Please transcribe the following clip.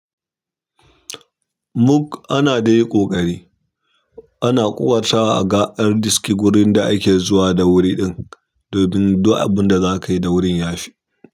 Muk ana dai ƙoƙari, ana ƙoƙartwa aga an riski wurin da ake zuwa da wuri ɗin domin duk abunda zakayi da wurin yafi.